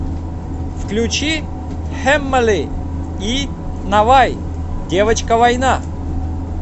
включи хэммэли и навай девочка война